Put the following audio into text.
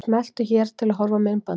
Smelltu hér til að horfa á myndbandið.